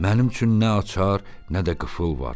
Mənim üçün nə açar, nə də qıfıl var.